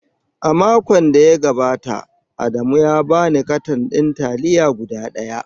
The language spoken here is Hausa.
A makon da ya gabata, Adamu ya ba ni katan ɗin taliya guda ɗaya.